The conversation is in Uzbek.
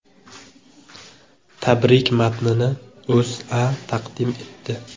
Tabrik matnini O‘zA taqdim etdi .